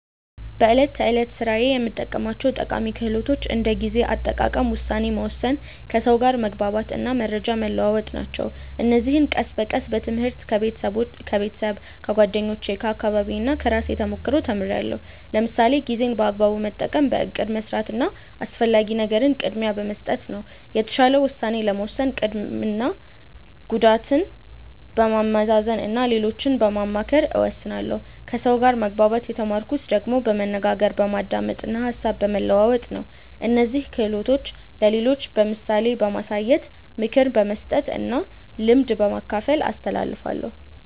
በዕለት ተዕለት ሥራዬ የምጠቀማቸው ጠቃሚ ክህሎቶች እንደ ጊዜ አጠቃቀም፣ ውሳኔ መወሰን፣ ከሰው ጋር መግባባት እና መረጃ መለዋወጥ ናቸው። እነዚህን ቀስ በቀስ በትምህርት፣ ከቤተሰብ፣ ከጓደኞቼ፣ ከአካባቢዬ እና ከራሴ ተሞክሮ ተምርያለሁ። ለምሳሌ ጊዜን በአግባቡ መጠቀም በእቅድ መስራት እና አስፈላጊ ነገርን ቅድሚያ በመስጠት ነው። የተሻለ ውሳኔ ለመወሰን ጥቅምና ጉዳትን በማመዛዘን እና ሌሎችን በማማከር እወስናለሁ ከሰው ጋር መግባባት የተማርኩት ደግሞ በመነጋገር፣ በማዳመጥ እና ሀሳብ በመለዋወጥ ነው። እነዚህን ክህሎቶች ለሌሎች በምሳሌ በማሳየት፣ ምክር በመስጠት እና ልምድ በማካፈል አስተላልፋለሁ።